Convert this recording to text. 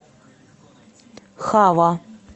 хава